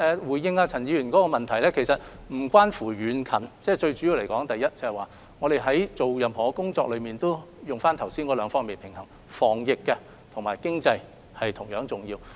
回應陳議員的質詢，其實無關乎地域遠近，我們的工作最主要考慮因素是以剛才提到的兩方面來作平衡，因為防疫和經濟同樣重要。